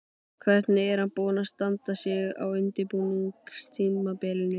Hvernig er hann búinn að standa sig á undirbúningstímabilinu?